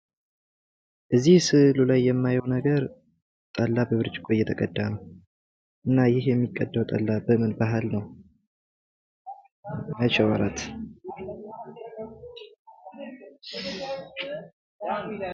እዚህ ስዕሉ ላይ የማየው ነገር ጠላ በብርጭቆ እየተቀዳ ነው። እና ይህ የሚቀዳው ጠላ በምን ባህል ነው?